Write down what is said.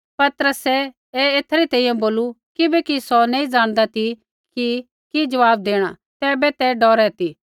पतरसै ऐ एथै री तैंईंयैं बोलू किबैकि सौ नैंई ज़ाणदा ती कि जवाब देणा तैबै ते बोहू डौरै ती